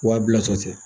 Wa bilatɔ tɛ